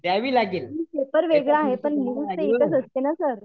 paper वेगळं आहे पण न्यूज तर एकच असते ना सर